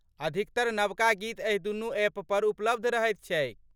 अधिकतर नबका गीत एहि दुनू एप पर उपलब्ध रहैत छैक।